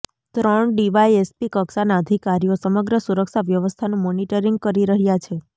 ત્રણ ડીવાયએસપી કક્ષાના અધિકારીઓ સમગ્ર સુરક્ષા વ્યવસ્થાનું મોનિટરિંગ કરી રહ્યા છે